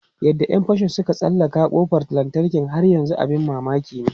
Yadda ‘yan fashin suka tsallake kofar lantarki har yanzu abin mamaki ne.